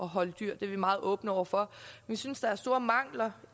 holde dyr det er vi meget åbne over for vi synes der er store mangler